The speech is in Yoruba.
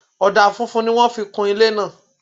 Ọ̀dà funfun ni wọ́n fi kún ilé náà